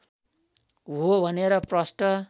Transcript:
हो भनेर प्रष्ट